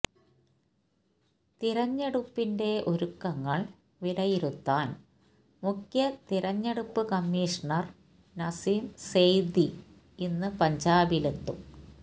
തിരഞ്ഞെടുപ്പിന്റെ ഒരുക്കങ്ങള് വിലയിരുത്താന് മുഖ്യ തിരഞ്ഞെടുപ്പ് കമ്മീഷണര് നസീം സെയ്ദി ഇന്ന് പഞ്ചാബിലെത്തും